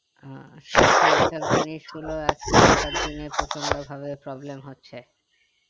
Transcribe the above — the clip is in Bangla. আহ জিনিসগুলো প্রচন্ড ভাবে problem হচ্ছে